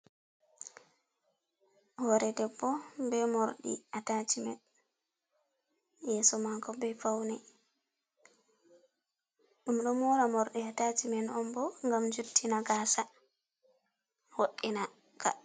Hore debbo be morɗi atacimen yeso mako ɓe fauni ɗum ɗo mora mordi ataciman on bo gam juttina gasa voɗina ka.